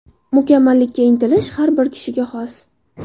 Mukammallikka intilish har bir kishiga xos.